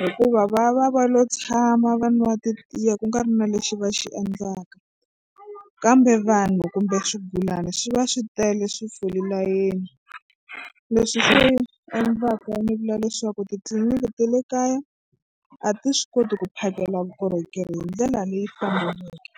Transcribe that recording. hikuva va va va lo tshama va nwa titiya ku nga ri na lexi va xi endlaka kambe vanhu kumbe swigulana swi va swi tele swi fole layeni leswi swi endlaka ni vula leswaku titliliniki ta le kaya a ti swi koti ku phakela vukorhokeri hi ndlela leyi faneleke.